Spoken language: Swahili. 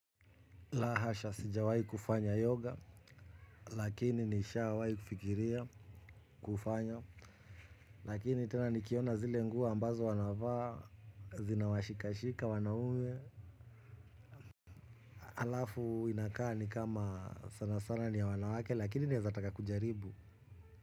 La hasha sijawahi kufanya yoga lakini nishawahi kufikiria kufanya lakini tena nikiona zile nguo ambazo wanavaa zina washikashika wanaume, halafu inakaa nikama sana sana ni ya wanawake lakini naeza taka kujaribu.